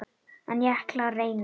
En ég ætla að reyna.